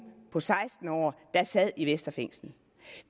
på seksten år der sad i vestre fængsel